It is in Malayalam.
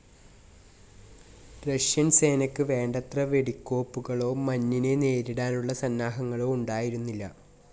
റഷ്യൻ സേനക്ക് വേണ്ടത്ര വെടിക്കോപ്പുകളോ മഞ്ഞിനെ നേരിടാനുള്ള സന്നാഹങ്ങളോ ഉണ്ടായിരുന്നില്ല.